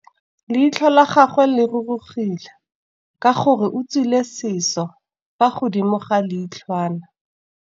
Leitlhô la gagwe le rurugile ka gore o tswile sisô fa godimo ga leitlhwana.